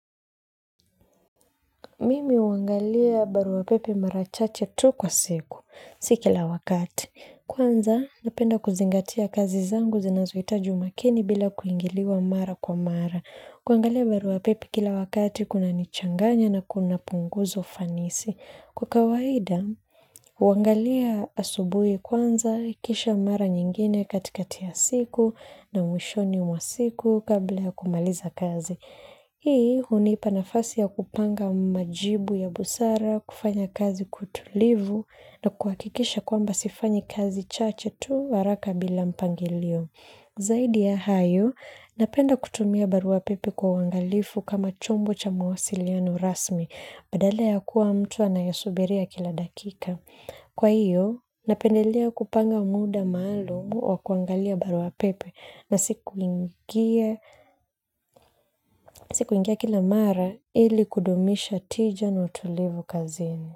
Mimi huangalia baruapepe mara chache tu kwa siku, si kila wakati. Kwanza napenda kuzingatia kazi zangu zinazohitaji umakini bila kuingiliwa mara kwa mara. Kuangalia baruapepe kila wakati kunanichanganya na kuna punguzo fanisi. Kwa kawaida, huangalia asubuhi kwanza kisha mara nyingine katikati ya siku na mwishoni mwa siku kabla ya kumaliza kazi. Hii hunipa nafasi ya kupanga majibu ya busara, kufanya kazi kwa utulivu na kuhakikisha kwamba sifanyi kazi chache tu haraka bila mpangilio. Zaidi ya hayo, napenda kutumia baruapepe kwa uangalifu kama chombo cha mawasiliano rasmi, badala ya kuwa mtu anayesubiria kila dakika. Kwa hiyo, napendelea kupanga muda maalumu wa kuangalia baruapepe na sikuingia kila mara ili kudumisha tija na utulivu kazini.